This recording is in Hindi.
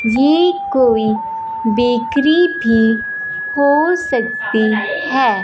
ये कोई बेकरी भी हो सकती है।